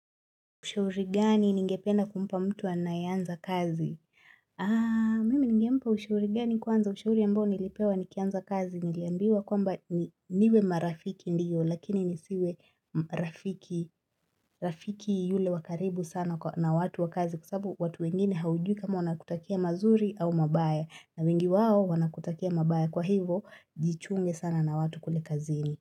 Ushauri gani ningependa kumpa mtu anayeanza kazi? Aa, mimi nigempa ushauri gani kwanza ushauri ambao nilipewa nikianza kazi niliambiwa kwamba niwe marafiki ndiyo lakini nisiwe rafiki rafiki yule wa karibu sana na watu wa kazi kwa sababu watu wengine haujui kama wanakutakia mazuri au mabaya na wengi wao wanakutakia mabaya kwa hivo jichunge sana na watu kule kazini.